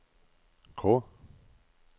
K